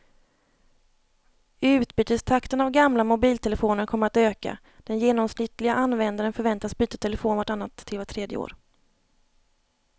Utbytestakten av gamla mobiltelefoner kommer att öka, den genomsnittliga användaren förväntas byta telefon vart annat till vart tredje år.